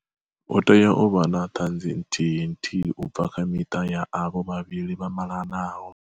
Hu tea u vha na ṱhanzi nthihi nthihi u bva kha miṱa ya avho vha vhili vha mala naho.